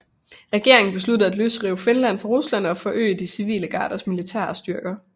Regeringen besluttede at løsrive Finland fra Rusland og at forøge de civile garders militære styrke